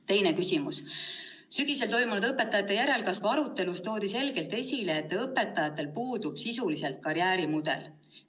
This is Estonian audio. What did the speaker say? Teine küsimus: "Sügisel toimunud õpetajate järelkasvu arutelus toodi selgelt esile, et õpetajatel puudub sisuliselt karjäärimudel.